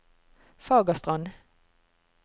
Fagerstrand